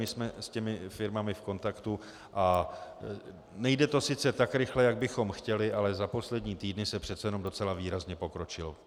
My jsme s těmi firmami v kontaktu a nejde to sice tak rychle, jak bychom chtěli, ale za poslední týdny se přece jenom docela výrazně pokročilo.